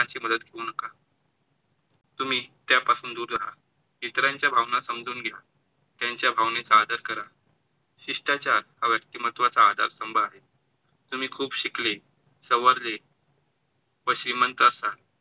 नका. तुम्ही त्या पासून दूर राहा, इतरांच्या भावना समजून घ्या, त्यांच्या भावनांचा आदर करा. शिष्टाचार हा व्यक्तिमत्वाचा आधारस्तंभ आहे. तुम्ही खूप शिकले, सवरले व श्रीमंत असाल,